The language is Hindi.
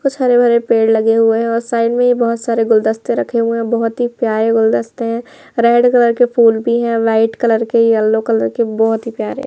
कुछ हरे-भरे पेड़ लगे हुए हैं और साइड में बहोत सारे गुलदस्ते रखे हुए हैं बहोत ही प्यारे गुलदस्ते हैं रेड कलर के फूल भी है वाइट कलर के येलो कलर के बहोत ही प्यारे --